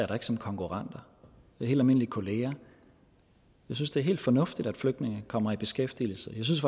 da ikke som konkurrenter det er helt almindelige kolleger jeg synes det er helt fornuftigt at flygtninge kommer i beskæftigelse jeg synes